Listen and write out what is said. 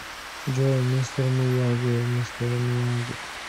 джой мистер мияги мистер мияги